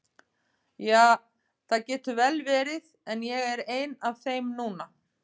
Ja, það getur vel verið, en ég er ein af þeim núna.